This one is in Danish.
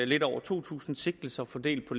lidt over to tusind sigtelser fordelt på